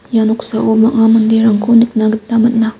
ia noksao bang·a manderangko nikna gita man·a.